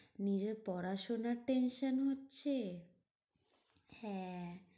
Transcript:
নিজের পড়াশোনার tension হচ্ছে। হ্যাঁ